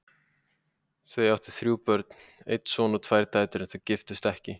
Þau áttu þrjú börn, einn son og tvær dætur, en þau giftust ekki.